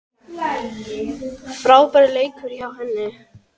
Frábær leikur hjá henni.